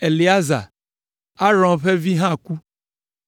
Eleazar, Aron ƒe vi hã ku,